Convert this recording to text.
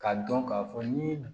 K'a dɔn k'a fɔ ni